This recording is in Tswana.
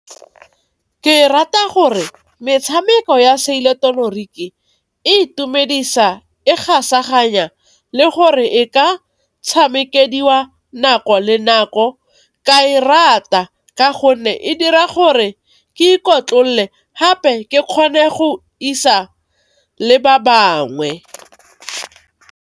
Ke e rata gore metshameko ya se ileketoroniki e itumedisa, e gasaganya le gore e ka tshamekediwa nako ka nako. Ka e rata ka gonne e dira gore ke ikotlolle gape ke kgone go isa le ba bangwe.